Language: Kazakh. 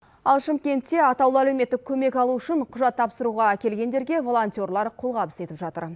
ал шымкентте атаулы әлеуметтік көмек алу үшін құжат тапсыруға келгендерге волонтерлар қолғабыс етіп жатыр